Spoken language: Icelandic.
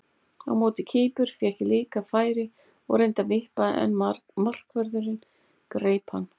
Á móti Kýpur fékk ég líka færi og reyndi að vippa en markvörðurinn greip hann.